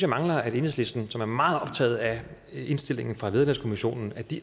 mangler at enhedslisten som er meget optaget af indstillingerne fra vederlagskommissionen